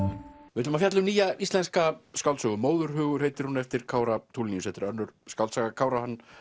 við ætlum að fjalla um nýja íslenska skáldsögu Móðurhugur heitir hún eftir Kára Tulinius önnur skáldsaga Kára hann